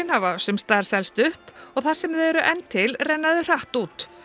hafa sums staðar selst upp og þar sem þau eru enn til renna þau hratt út